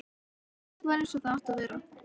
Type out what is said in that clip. Allt var eins og það átti að vera.